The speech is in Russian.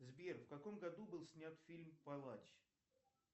сбер в каком году был снят фильм палач